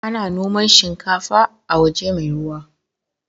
Ana noman shikafa a waje mai ruwa.